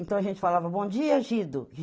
Então a gente falava, bom dia, Gido.